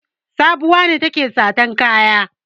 Sabuwa ce take satan kaya.